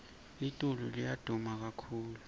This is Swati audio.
litulu liya duma kakhulu